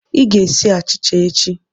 Ị ga-esi achịcha echi!